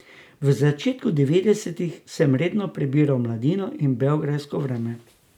V začetku devetdesetih sem redno prebiral Mladino in beograjsko Vreme.